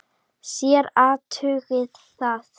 Þér athugið það.